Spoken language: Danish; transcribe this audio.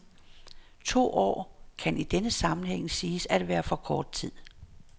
To år kan i denne sammenhæng siges at være for kort tid.